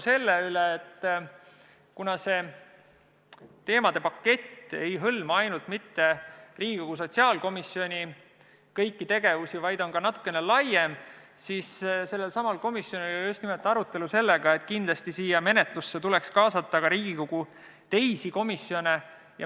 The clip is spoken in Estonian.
Kuna see teemade pakett ei hõlma mitte ainult Riigikogu sotsiaalkomisjoni kõiki tegevusi, vaid on natuke laiem, siis komisjonis oli arutelu selle üle, et menetlusse tuleks kindlasti kaasata ka Riigikogu teisi komisjone.